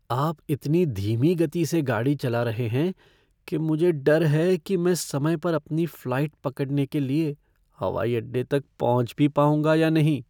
आप इतनी धीमी गति से गाड़ी चला रहे हैं कि मुझे डर है कि मैं समय पर अपनी फ़्लाइट पकड़ने के लिए हवाई अड्डे तक पहुँच भी पाऊँगा या नहीं।